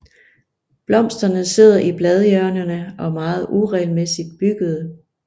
Blomsterne sidder i bladhjørnerne og er meget uregelmæssigt byggede